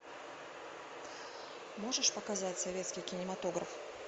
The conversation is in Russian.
можешь показать советский кинематограф